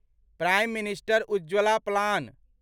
prime minister Ujjwal plan